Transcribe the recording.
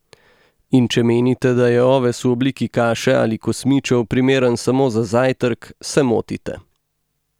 In če menite, da je oves v obliki kaše ali kosmičev primeren samo za zajtrk, se motite.